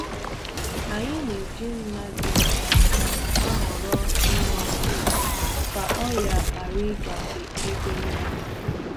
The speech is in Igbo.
Ahụrụ m ihe m ihe na-acha akwụkwọ ndụ ọkụ otu ugboro, ekweghi'm ka ọ gbasasị tupu m kwusi-ya